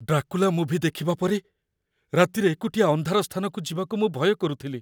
Dracula movie ଦେଖିବା ପରେ, ରାତିରେ ଏକୁଟିଆ ଅନ୍ଧାର ସ୍ଥାନକୁ ଯିବାକୁ ମୁଁ ଭୟ କରୁଥିଲି।